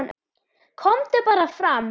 KOMDU BARA FRAM